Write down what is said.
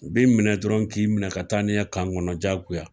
U bi minɛ dɔrɔn k'i minɛ ka taa ni ye kan kɔnɔ jagoya.